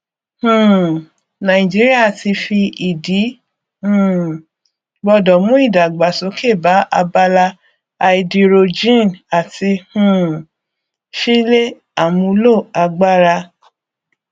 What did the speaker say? um nàìjíríà ti fi ìdí um gbọdọ mú ìdàgbàsókè bá abala háídírójìn àti um ṣíle àmúlo agbára